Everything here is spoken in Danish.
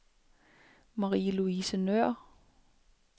Marie-Louise Nøhr